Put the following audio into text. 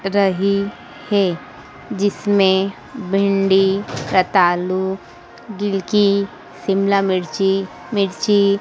रही हैं जिसमें भिंडी रतालू गिलकी शिमला मिर्ची मिर्ची।